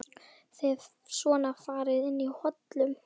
Þið svona farið inn í hollum?